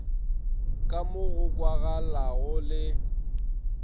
ka mo go kwagalago le